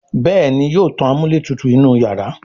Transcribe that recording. Béèni yóò tán amúlétutù inú iyàrá.